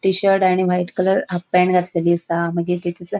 टि-शर्ट आनी white colour half pant घातलेली आसा मागीर तेचेस --